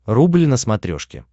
рубль на смотрешке